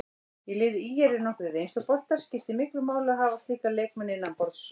Í liði ÍR eru nokkrir reynsluboltar, skiptir miklu máli að hafa slíka leikmenn innanborðs?